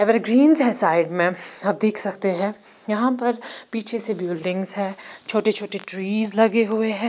Ever greens है side मे आप देख सकते है यहाँ पर पीछे से बिल्डिंग्स है छोटे छोटे ट्रीज है लगे हुए है।